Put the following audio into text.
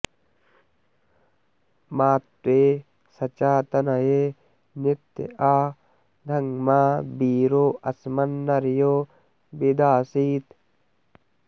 मा त्वे सचा तनये नित्य आ धङ्मा वीरो अस्मन्नर्यो वि दासीत्